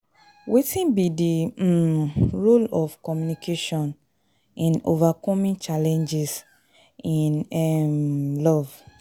Wetin be di um role of communication in overcoming challenges in um love?